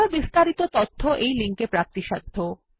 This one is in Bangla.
আরো বিস্তারিত তথ্য এই লিঙ্ক এ প্রাপ্তিসাধ্য